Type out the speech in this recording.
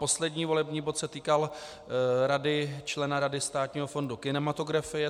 Poslední volební bod se týkal člena Rady Státního fondu kinematografie.